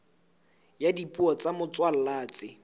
ya dipuo tsa motswalla tse